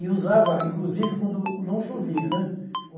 E usava, inclusive, quando não chovia, né?